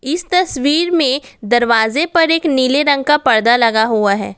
इस तस्वीर में दरवाजे पर एक नीले रंग का पर्दा लगा हुआ है।